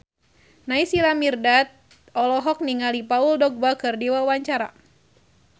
Naysila Mirdad olohok ningali Paul Dogba keur diwawancara